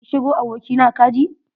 Yi shiru abokina kaji.